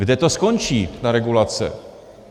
Kde to skončí, ta regulace?